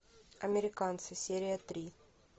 американцы серия три